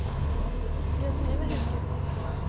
Gunhild Helgesen